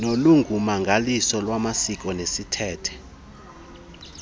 nolungummangaliso lwamasiko neziithethe